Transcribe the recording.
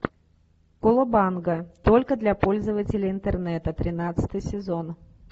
колобанга только для пользователей интернета тринадцатый сезон